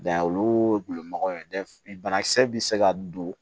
olu gulonnen bana kisɛ bi se ka don